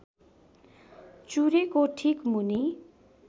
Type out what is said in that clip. चुरेको ठीक मुनि